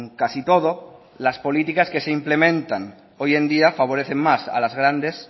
casi todo las políticas que se implementan hoy en día favorecen más a las grandes